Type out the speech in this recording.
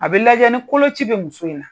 A bɛ lajɛ ni koloci bɛ muso in na.